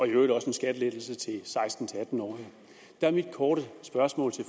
i øvrigt også en skattelettelse til seksten til atten årige der er mit korte spørgsmål til